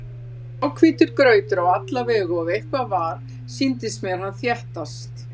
Það var gráhvítur grautur á alla vegu og ef eitthvað var, sýndist mér hann þéttast.